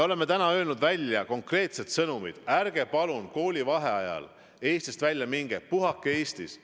Oleme öelnud välja konkreetsed sõnumid, et ärge palun koolivaheajal Eestist välja minge, puhake Eestis.